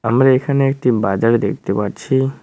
আমরা এখানে একটি বাজার দেখতে পাচ্ছি।